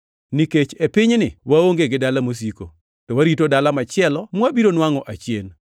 Nikech e pinyni waonge gi dala mosiko, to warito dala machielo mwabiro nwangʼo achien.